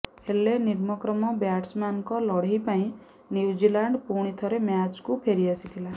ହେଲେ ନିମ୍ନକ୍ରମ ବ୍ୟାଟସମ୍ୟାନଙ୍କ ଲଢେଇ ପାଇଁ ନ୍ୟୁଜିଲାଣ୍ଡ ପୁଣିଥରେ ମ୍ୟାଚକୁ ଫେରିଆସିଥିଲା